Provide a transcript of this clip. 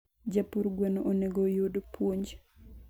japur gweno onego oyud puonj